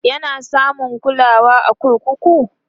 yana samun kulawa a kurkuku?